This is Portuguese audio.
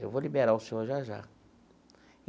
Eu vou liberar o senhor já já.